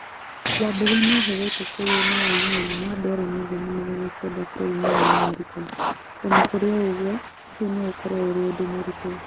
Wambugu nĩeherete kũrĩ na ũiguano wa ndora mirioni magana kenda bũrũri-inĩ wa America, ona kũrĩ ũgwo, ũcio no ũkorwo ũrĩ ũndũ mũritũ